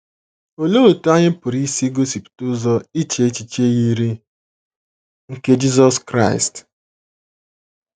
Olee otú anyị pụrụ isi gosipụta ụzọ iche echiche yiri nke Jisọs Kraịst?